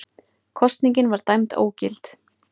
Kosningin var dæmd ógild